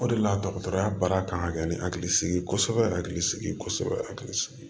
O de la dɔgɔtɔrɔya baara kan ka kɛ ni hakili sigi ye kosɛbɛ hakili sigi kosɛbɛ hakili sigi